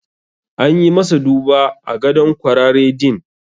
An yi masa duba a gadon kwarare din.